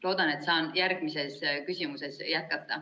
Loodan, et saan järgmisele küsimusele vastates jätkata.